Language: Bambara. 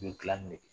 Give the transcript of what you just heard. U bɛ dilanni ne